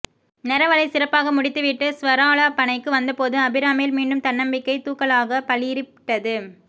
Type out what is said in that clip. நெரவலைச் சிறப்பாக முடித்துவிட்டு ஸ்வராலாபனைக்கு வந்தபோது அபிராமியில் மீண்டும் தன்னம்பிக்கை தூக்கலாகப் பளீரிட்டது